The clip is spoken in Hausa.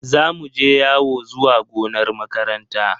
Za mu je yawo zuwa gonar makaranta.